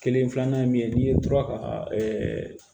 Kelen filanan ye min ye n'i ye tora ka